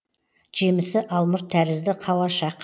жемісі алмұрт тәрізді қауашақ